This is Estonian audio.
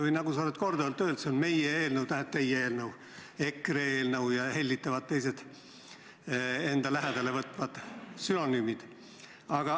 Või nagu sa oled korduvalt öelnud, "see on meie eelnõu", tähendab teie eelnõu, EKRE eelnõu ja mis need teised hellitavad endale viitavad formuleeringud ongi.